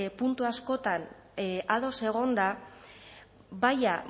puntu askotan ados egonda baina